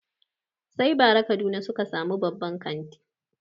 Sai bara kaduna suka sami babban kanti